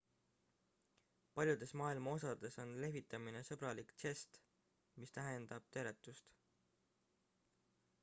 paljudes maailma osades on lehvitamine sõbralik žest mis tähistab teretust